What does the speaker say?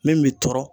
Min bi tɔɔrɔ